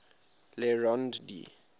le rond d